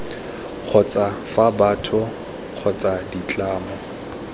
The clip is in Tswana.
kgotsa fa batho kgotsa ditlamo